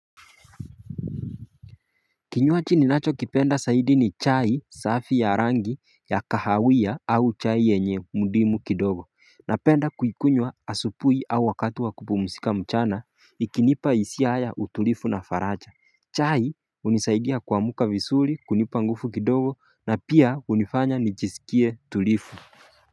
Kinywaji ninacho kipenda zaidi ni chai safi ya rangi ya kahawia au chai yenye mudimu kidogo Napenda kuikunywa asubuhi au wakati wa kupumzika mchana ikinipa hisia haya utulivu na faraja chai hunisaidia kuamka vizuri kunipa nguvu kidogo na pia hunifanya nijisikie tulivu.